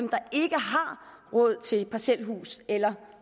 råd til parcelhus eller